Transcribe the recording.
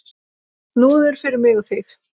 Snúður fyrir mig og þig.